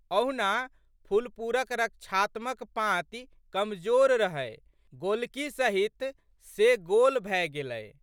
अहुना फुलपुरक रक्षात्मक पाँति कमजोर रहै गोलकी सहित से गोल भए गेलै।